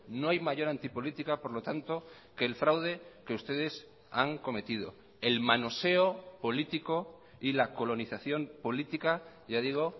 no hay mayor antipolítica por lo tanto que el fraude que ustedes han cometido el manoseo político y la colonización política ya digo